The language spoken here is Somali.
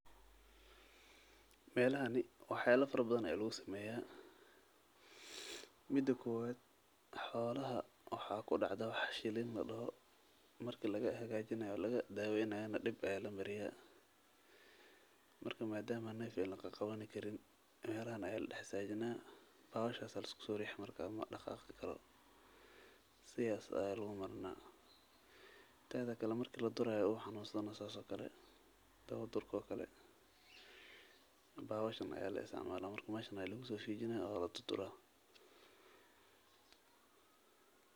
Meelahan ni, waxa ay la faro badan, iluus imaya. Middo kuwad xoolaha waxaa ku dhacdo wax shiilin la daho markii laga hagaajinayo, laga daawinayna dip ay la mariyaan. marka maada nef yo la ka qaban karin meelahan ay la dhaxay istaa jine, bawasho asal suuriyey marka ama dhakha karo si aysan u marno. Taasika la markii la durayo waxaanu usanah saaco kale, dabow durko kale. Bawooshan ayaa la is amn ah, markaa ma shanay lugtay fiidina walaad tuura.